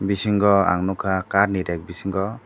bisingo ang nogka kat ni reg bisingo.